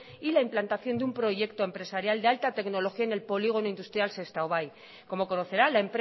y la implantación de un proyecto empresarial de alta tecnología en el polígono industrial sestao bai como conocerá la